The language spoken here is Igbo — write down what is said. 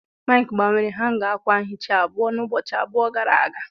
Mike gbanwere hanga ákwà nhicha ahu n'ụbọchị abụọ gara aga.